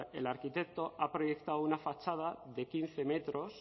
el arquitecto ha proyectado una fachada de quince metros son